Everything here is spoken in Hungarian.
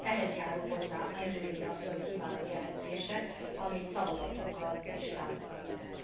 Ehhez járul hozzá Angelilli asszony kiváló jelentése, amit szavazatunkkal is támogatunk.